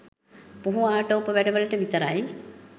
පුහු ආටෝප වැඩ වලට විතරයි